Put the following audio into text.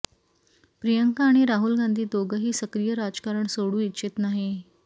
प्रियंका आणि राहुल गांधी दोघंही सक्रिय राजकारण सोडू इच्छित नाही